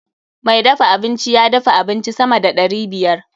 Mai dafa abinci ya dafa abinci sama da ɗari biyar.